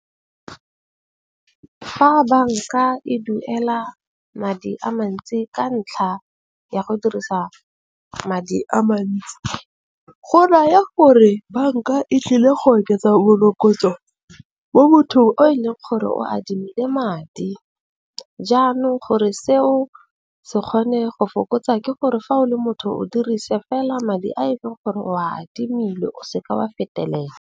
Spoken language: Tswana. Fa banka e duela madi a mantsi ka ntlha ya go dirisa madi a mantsi, go raya gore banka e tlile go oketsa morokotso mo mothong o e leng gore o adimile madi. Jaanong gore seo se kgone go fokotsa ke gore fa o le motho o dirise fela madi a e leng gore o adimile o seke wa fetelela.